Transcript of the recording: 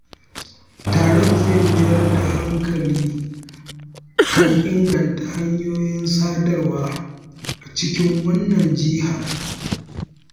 Taron zai mayar da hankali kan inganta hanyoyin sadarwa a cikin wannan jihar